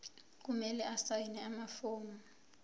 kumele asayine amafomu